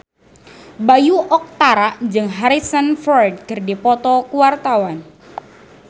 Bayu Octara jeung Harrison Ford keur dipoto ku wartawan